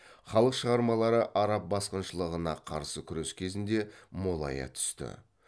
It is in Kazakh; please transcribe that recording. халық шығармалары араб басқыншылығына қарсы күрес кезінде молая түсті